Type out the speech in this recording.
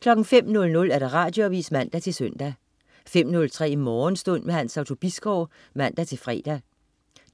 05.00 Radioavis (man-søn) 05.03 Morgenstund. Hans Otto Bisgaard (man-fre)